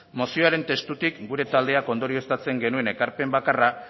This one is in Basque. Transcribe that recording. mozioaren testutik gure taldeak ondorioztatzen genuen ekarpen bakarra